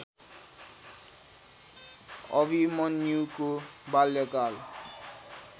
अभिमन्युको बाल्यकाल